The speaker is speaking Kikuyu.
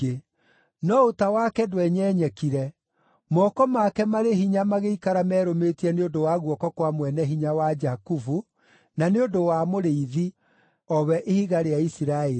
No ũta wake ndwenyenyekire, moko make marĩ hinya magĩikara merũmĩtie nĩ ũndũ wa guoko kwa Mwene-Hinya wa Jakubu, na nĩ ũndũ wa Mũrĩithi, o we Ihiga rĩa Isiraeli,